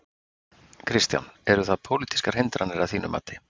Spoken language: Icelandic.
Kristján: Eru það pólitískar hindranir að þínu mati?